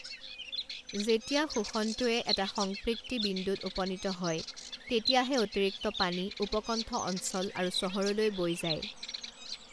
যেতিয়া শোষণটোৱে এটা সংপৃক্তি বিন্দুত উপনীত হয় তেতিয়াহে অতিৰিক্ত পানী উপকণ্ঠ অঞ্চল আৰু চহৰলৈ বৈ যায়।